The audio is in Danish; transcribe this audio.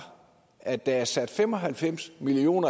at der er sat fem og halvfems million